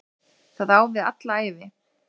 Það á við alla ævi.